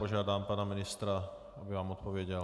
Požádám pana ministra, aby vám odpověděl.